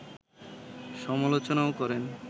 সমালোচনাও করেন